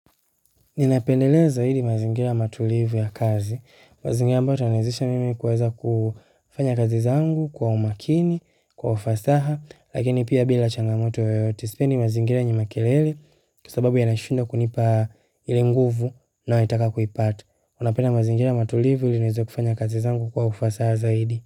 Ninapendelea zaidi mazingira matulivu ya kazi, mazingira ambayo itaniwezesha mimi kuweza kufanya kazi zangu kwa umakini, kwa ufasaha, lakini pia bila changamoto yoyote sipendi mazingira yenye makelele kwa sababu yananishinda kunipa ile nguvu ninayotaka kuipata. Napenda mazingira matulivu ili niweze kufanya kazi zangu kwa ufasaha zaidi.